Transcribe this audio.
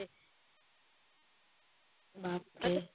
બાપરે